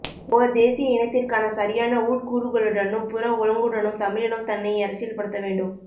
ஓர் தேசிய இனத்திற்கான சரியான உட்க்கூறுகளுடனும் புற ஒழுங்குடனும் தமிழினம் தன்னை அரசியல் படுத்தவேண்டும்